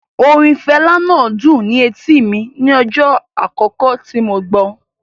Orin Fela náà dùn ni etíì mi ní ọjọ́ àkókò tí mo gbọ́.